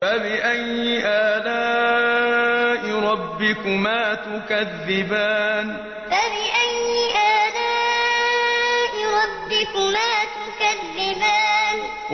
فَبِأَيِّ آلَاءِ رَبِّكُمَا تُكَذِّبَانِ فَبِأَيِّ آلَاءِ رَبِّكُمَا تُكَذِّبَانِ